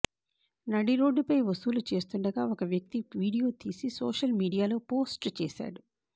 నడిరోడ్డుపై వసూలు చేస్తుండగా ఓ వ్యక్తి వీడియో తీసి సోషల్ మీడియాలో పోస్ట్ చేశాడు